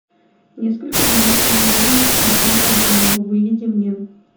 несколько дней из жизни и и обломова выведи мне